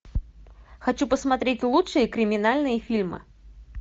хочу посмотреть лучшие криминальные фильмы